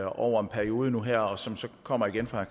over en periode nu her og som så kommer igen fra